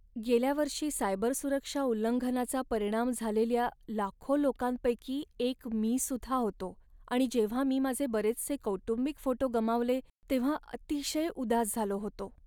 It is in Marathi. गेल्या वर्षी सायबरसुरक्षा उल्लंघनाचा परिणाम झालेल्या लाखो लोकांपैकी एक मीसुद्धा होतो आणि जेव्हा मी माझे बरेचसे कौटुंबिक फोटो गमावले तेव्हा अतिशय उदास झालो होतो.